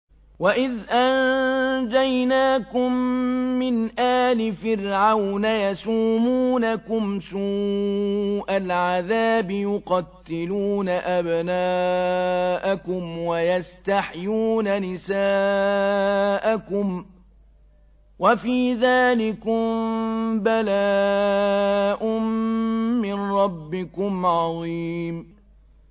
وَإِذْ أَنجَيْنَاكُم مِّنْ آلِ فِرْعَوْنَ يَسُومُونَكُمْ سُوءَ الْعَذَابِ ۖ يُقَتِّلُونَ أَبْنَاءَكُمْ وَيَسْتَحْيُونَ نِسَاءَكُمْ ۚ وَفِي ذَٰلِكُم بَلَاءٌ مِّن رَّبِّكُمْ عَظِيمٌ